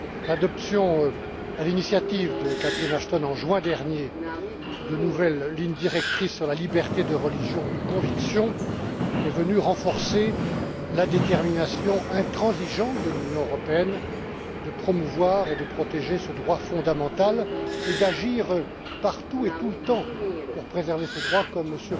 L'adoption, à l'initiative de Catherine Ashton en juin dernier, de nouvelles lignes directrices sur la liberté de religion ou de conviction est venue renforcer la détermination intransigeante de l'Union européenne de promouvoir et de protéger ce droit fondamental et d'agir, partout et tout le temps, pour préserver ce droit, comme M.